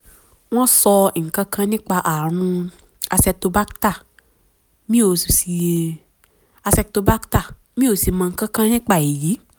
wọ́n sọ nǹkan kan nípa ààrùn acetobacter mi ò acetobacter mi ò sì mọ nǹkan kan nípa èyí